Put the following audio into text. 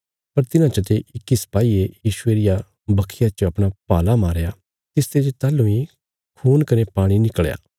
पर तिन्हां चते इक्की सिपाईये यीशुये रिया बखिया च अपणा भाला मारया तिसते जे ताहलूं इ खून कने पाणी निकल़या